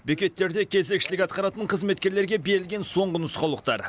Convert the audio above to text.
бекеттерде кезекшілік атқаратын қызметкерлерге берілген соңғы нұсқаулықтар